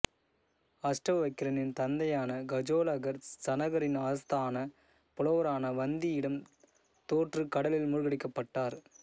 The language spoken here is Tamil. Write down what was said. அஷ்டவக்கிரனின் தந்தையான கஜோளகர் ஜனகரின் ஆஸ்தான புலவரான வந்தியிடம் தோற்று கடலில் மூழ்கடிக்கப்பட்டார்